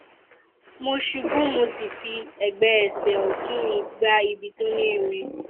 mo ṣubú mo sì fi ẹgbẹ ẹsẹ ọtún mi gbá ibi tó ní irin